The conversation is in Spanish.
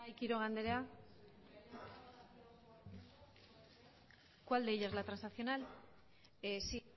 quiroga andrea cuál de ellas la transaccional sí